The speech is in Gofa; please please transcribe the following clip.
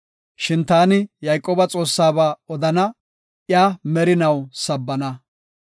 Shin taani Yayqooba Xoossaaba odana; iya merinaw sabbana.